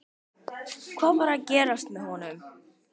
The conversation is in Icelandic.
Hvað var að gerast innra með honum?